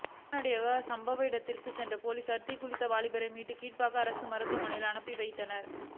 உடனடியாக சம்பவ இடத்துக்குச் சென்ற போலீஸார் தீக்குளித்த வாலிபரை மீட்டு கீழ்ப்பாக்கம் அரசு மருத்துவமனைக்கு அனுப்பி வைத்தனர்